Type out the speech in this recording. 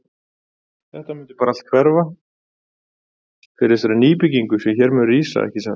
Þetta mun allt bara hverfa fyrir þessari nýbyggingu sem hér mun rísa, ekki satt?